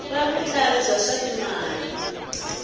ra vutlharhi bya swa timali